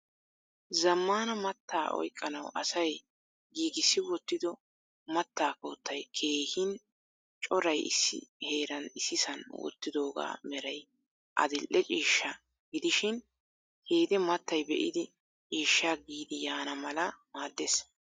Zammana mattaa oyqqanaw asay giigissi wottido mattaa koottay keehin coray issi heeran issisan wottidooga meray adil"e ciishsha gidishin hede mattay be'idi ciishsha giidi yaana mala maaddees.